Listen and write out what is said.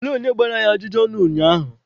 Olee onye gbara ya ajụjụ ọnụ ụnyaahụ?